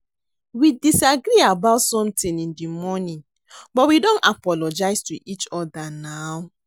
We disagree about something in the morning but we don apologize to each other now